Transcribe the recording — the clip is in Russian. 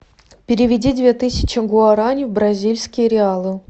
переведи две тысячи гуарани в бразильские реалы